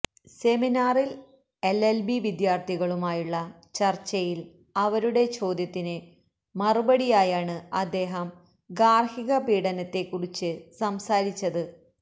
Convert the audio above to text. സെമിനാറില് LLB വിദ്യാര്ത്ഥികളുമായുള്ള ചര്ച്ചയില് അവരുടെ ചോദ്യത്തിന് മറുപടിയായാണ് അദ്ദേഹം ഗാര്ഹിക പീഡനത്തെ കുറിച്ച് സംസാരിച്ചത്